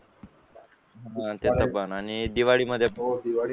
हा त्यापण आणि दिवाळीमध्ये